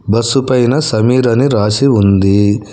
Bus పైన సమీర్ అని రాసి ఉంది.